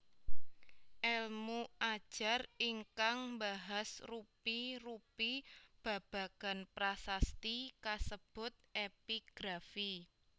Èlmu ajar ingkang mbahas rupi rupi babagan prasasti kasebut Epigrafi